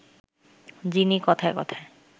যিনি কথায় কথায়